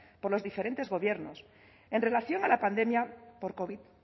por los diferentes gobiernos en relación a la pandemia por covid